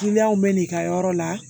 Kiliyanw bɛ n'i ka yɔrɔ la